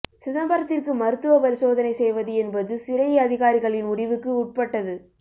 சிதம்பரத்திற்கு மருத்துவ பரிசோதனை செய்வது என்பது சிறை அதிகாரிகளின் முடிவுக்கு உட்பட்டது